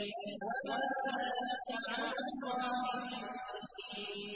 وَمَا ذَٰلِكَ عَلَى اللَّهِ بِعَزِيزٍ